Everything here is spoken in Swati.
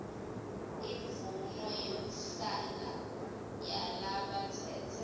imvumo yekuhlala yalabatsetse